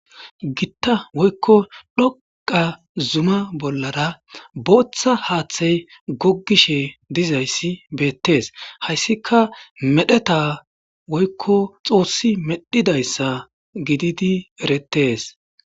gitta woykko dhoqa zuma bollara booththa haaththey gogishe dizayssi beettes hayssika medheta woykko xoossi medhidayssa gididi erettes